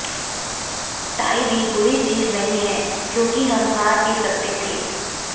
tie भी बुरी चीज नहीं है क्योंकि हम हार भी सकते थे